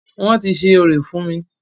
Wọ́n ti ṣe orò fún mí.